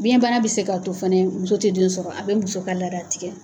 Biyɛn bana bɛ se k'a to fana muso tɛ den sɔrɔ, a bɛ muso ka laada tigɛ.